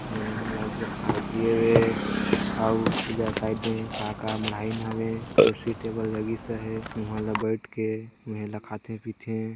बढियाँ लगे खाए पिए हे अउ एजा साइड में का-का मढयिन हवे कुर्सी टेबुल लगी स हैउहां ला बइठ के खाते पीते।